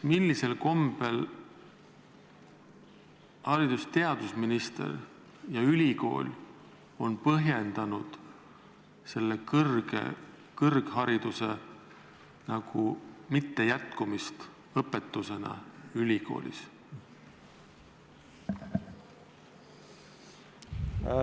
Millisel kombel haridus- ja teadusminister ja ülikool on põhjendanud siin kõrghariduse mitteandmist ülikoolis?